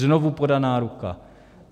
Znovu podaná ruka.